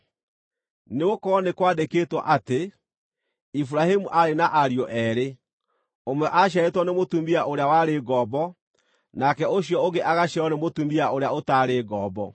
Nĩgũkorwo nĩ kwandĩkĩtwo atĩ, Iburahĩmu aarĩ na ariũ eerĩ, ũmwe aaciarĩtwo nĩ mũtumia ũrĩa warĩ ngombo, nake ũcio ũngĩ agaciarwo nĩ mũtumia ũrĩa ũtaarĩ ngombo.